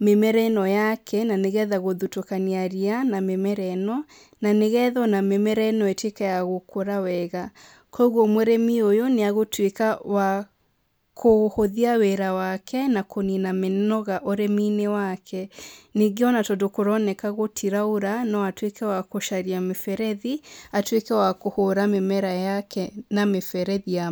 mĩmera ĩno yake, na nĩgetha gũthutũkania ria na mĩmera ĩno. Na nĩgetha ona mĩmera ĩno ĩtuĩke ya gũkũra wega. Kũguo mũrĩmi ũyũ, nĩ agũtuĩka wa kũhũthia wĩra wake, na kũnina mĩmera ũrĩmi-inĩ wake. Ningĩ ona tondũ kũroneka gũtiraura, no atuĩka wa gũcaria mĩberethi, atuĩke wa kũhũra mĩmera na mĩberethi ya.